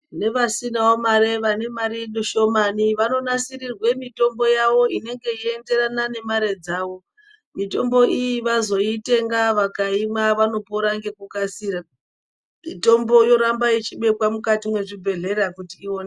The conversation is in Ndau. Nevasinawo mare vane marw shomani vanonasirawo mitombo yawo inenge ichienderane nemare dzawo mitombo iyi vazoitenga vakaimwa vanopora nekukasira mitombo yoramba ichibekwa mukati mezvibhedhlera kuti idetserwe.